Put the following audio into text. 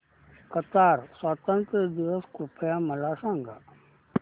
Qatar स्वातंत्र्य दिवस कृपया मला सांगा